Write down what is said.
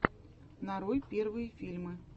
нарой первые фильмы